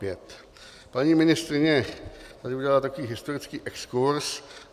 Paní ministryně tady udělala takový historický exkurz.